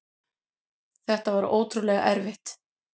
Þetta var ótrúlega erfitt.